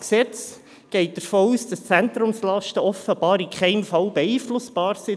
Das Gesetz geht davon aus, dass die Zentrumslasten offenbar in keinem Fall beeinflussbar sind.